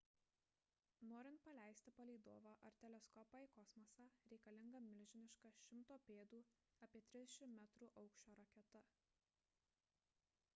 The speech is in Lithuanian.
norint paleisti palydovą ar teleskopą į kosmosą reikalinga milžiniška 100 pėdų apie 30 metrų aukščio raketa